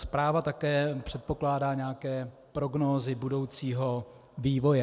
Zpráva také předpokládá nějaké prognózy budoucího vývoje.